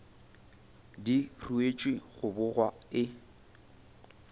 di ruetšwe go bogwa e